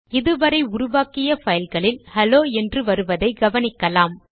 இது வரை உருவாக்கிய பைல்களில் ஹெலோ என்று வருவதை கவனிக்கலாம்